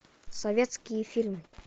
советские фильмы